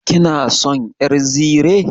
Kina son ƴar zire?